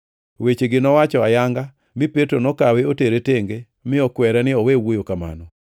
Wechegi nowacho ayanga, mi Petro nokawe otere tenge mi okwere ni owe wuoyo kamano.